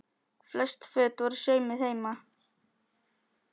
Flest föt voru saumuð heima.